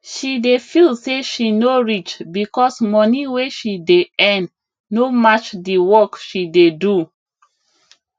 she dey feel say she no reach because money wey she dey earn no match the work she dey do